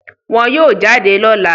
Wọ́n yóò jáde lọ́la